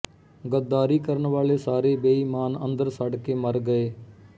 ਗ਼ੱਦਾਰੀ ਕਰਨ ਵਾਲੇ ਸਾਰੇ ਬੇਈਮਾਨ ਅੰਦਰ ਸੜ ਕੇ ਮਰ ਗਏ